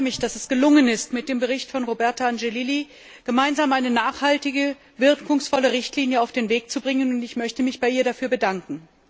Ich freue mich, dass es gelungen ist, mit dem Bericht von Roberta Angelilli gemeinsam eine nachhaltige, wirkungsvolle Richtlinie auf den Weg zu bringen, und ich möchte mich bei ihr dafür bedanken.